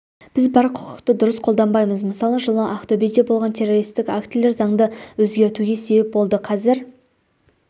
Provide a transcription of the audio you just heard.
біз бар құқықты дұрыс қолданбаймыз мысалы жылы ақтөбеде болған террористік актілер заңды өзгертуге себеп болды қазір